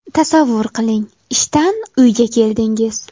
Tasavvur qiling, ishdan uyga keldingiz.